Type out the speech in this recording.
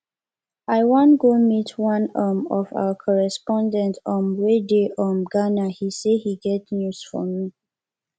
i wan go meet one um of our correspondent um wey dey um ghana he say he get news for me